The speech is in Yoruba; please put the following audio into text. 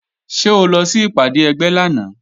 Ṣé o lọ sí ìpàdé ẹgbẹ́ lánàá?